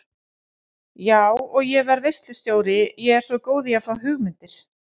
Já og ég verð veislustjóri ég er svo góð í að fá hugmyndir